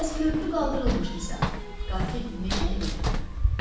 Bəs körpü qaldırılmışdısa, qatil necə evə girib?